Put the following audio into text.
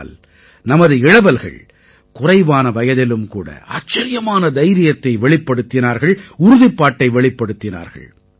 ஆனால் நமது இளவல்கள் குறைவான வயதிலும் கூட ஆச்சரியமான தைரியத்தை வெளிப்படுத்தினார்கள் உறுதிப்பாட்டை வெளிப்படுத்தினார்கள்